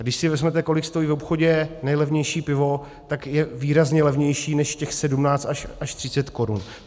A když si vezmete, kolik stojí v obchodě nejlevnější pivo, tak je výrazně levnější než těch 17 až 30 korun.